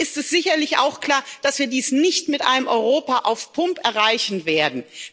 Hier ist es sicherlich auch klar, dass wir dies nicht mit einem Europa auf Pump erreichen werden.